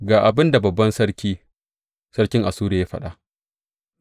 Ga abin da babban sarki, sarkin Assuriya, ya faɗa.